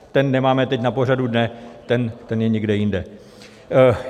Ten teď nemáme na pořadu dne, ten je někde jinde.